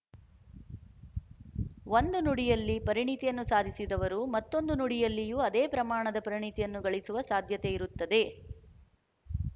ಒಂದು ನುಡಿಯಲ್ಲಿ ಪರಿಣಿತಿಯನ್ನು ಸಾಧಿಸಿದವರು ಮತ್ತೊಂದು ನುಡಿಯಲ್ಲಿಯೂ ಅದೇ ಪ್ರಮಾಣದ ಪರಿಣಿತಿಯನ್ನು ಗಳಿಸುವ ಸಾಧ್ಯತೆ ಇರುತ್ತದೆ